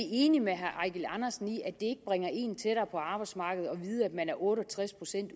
enig med herre eigil andersen i at det bringer en tættere på arbejdsmarkedet at vide at man er otte og tres procent